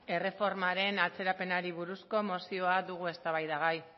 erreformaren atzerapenari buruzko mozioa dugu eztabaidagai